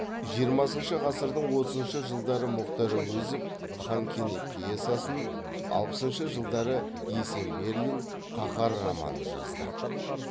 жиырмасыншы ғасырдың отызыншы жылдары мұхтар әуезов хан кене пьесасын алпысыншы жылдары есенберлин қаһар романын жазды